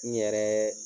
N yɛrɛ